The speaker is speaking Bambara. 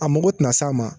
A mago tina s'a ma